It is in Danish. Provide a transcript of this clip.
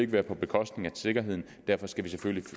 være på bekostning af sikkerheden og derfor skal vi selvfølgelig